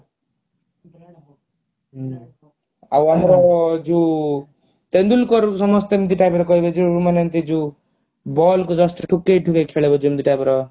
ହୁଁ ଆଉ ଆମର ଯଉ ତେନ୍ଦୁଲକର କୁ ସମସ୍ତେ ଏମିତି type ର କହିବେ ଯେ ମାନେ ଏମିତି ଯଉ ball କୁ just ଠୁକେଇ ଠୁକେଇ ଖେଳିବ ଯେମିତି type ର